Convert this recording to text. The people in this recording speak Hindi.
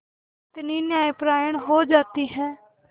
कितनी न्यायपरायण हो जाती है